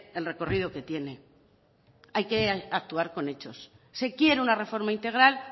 el recorrido que tiene hay que actuar con eso se quiere una reforma integral